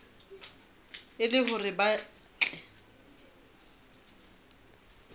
e le hore ba tle